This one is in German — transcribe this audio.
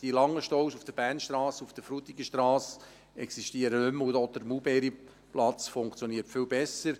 Die langen Staus auf der Bernstrasse und auf der Frutigenstrasse existieren nicht mehr, und auch der Maulbeerplatz funktioniert viel besser.